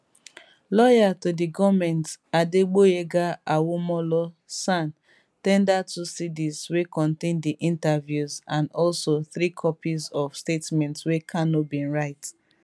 lawyer to di goment adegboyega awomolo san ten der two cds wey contain di interviews and also three copies of statements wey kanu bin write